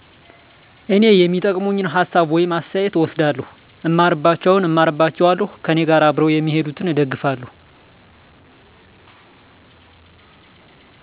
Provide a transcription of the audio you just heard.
እኔ የሚጠቅመኝን ሀሳብ ወይም አስተያተት እወስዳለሁ እማርባቸውን እማርባቸዋለሁ ከእኔጋር አብረው እሚሄዱትን እደግፋለሁ።